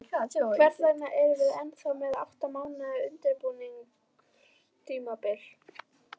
Hvers vegna erum við ennþá með átta mánaða undirbúningstímabil?